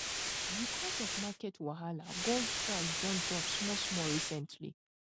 because of market wahala gold price don drop small small recently